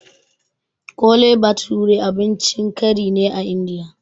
Kole bathure abincin kari ne a Indiya